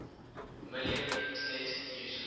million internet users